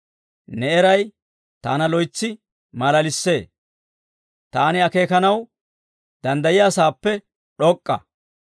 Ne eray taana loytsi malalissee; taani akeekanaw danddayiyaasaappe d'ok'k'a.